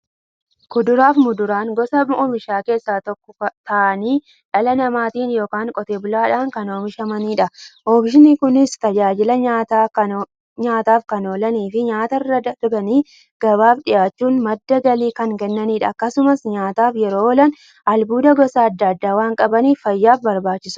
Kuduraafi muduraan gosa oomishaa keessaa tokko ta'anii, dhala namaatin yookiin Qotee bulaadhan kan oomishamaniidha. Oomishni Kunis, tajaajila nyaataf kan oolaniifi nyaatarra darbanii gabaaf dhiyaachuun madda galii kan kennaniidha. Akkasumas nyaataf yeroo oolan, albuuda gosa adda addaa waan qabaniif, fayyaaf barbaachisoodha.